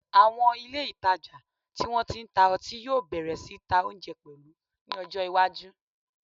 Àwọn ilé ìtajà tí wọ́n ti ń ta ọtí yóò bẹ̀rẹ̀ sí ta oúnjẹ pẹ̀lú ní ọjọ́ iwájú